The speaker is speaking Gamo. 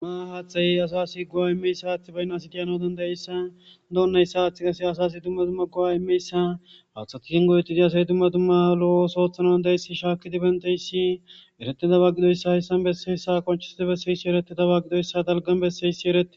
Duma haaththay asasi go7a immeyssa haathi baynna sitiyano dandayayssa doonnayssa haaththi qase asasi tumma tumma go7a imeyssa haathati singoyetizi asay tumma tumma lo7os oothanaan deyssi shaakidibenteyssi erete da bagidoyssa hessan besseyssa konchisidi besseyssi erete ta baggidoyssa dalgan besseysierete.